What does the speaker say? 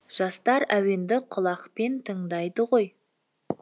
жастар әуенді құлақпен тыңдайды ғой